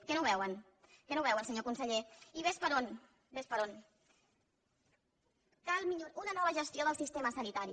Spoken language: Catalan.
que no ho veuen que no ho veuen senyor conseller i ves per on una nova gestió del sistema sanitari